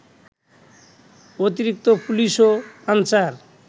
অতিরিক্ত পুলিশ ও আনসার